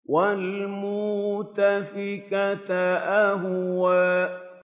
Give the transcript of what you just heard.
وَالْمُؤْتَفِكَةَ أَهْوَىٰ